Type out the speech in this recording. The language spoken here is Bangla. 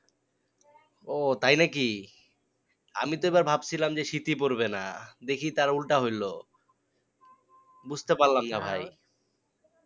ও তাই নাকি আমি তো এবার ভাবছিলাম যে শীতই পড়বে না দেখি তার উল্টা হলো, বুঝতে পারলাম না ভাই